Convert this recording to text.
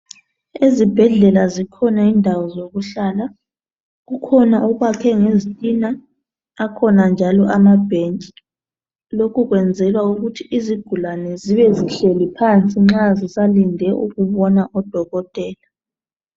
Ezibhedlela zikhona indawo zokuhlala kukhona okwakhwe ngezitina akhona njalo amabhentshi lokhu kwenzelwa ukuthi izigulane zibe zihleli phansi nxa zisalinde ukubona udokotela.